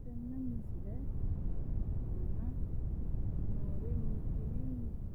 tenne misile aana noorina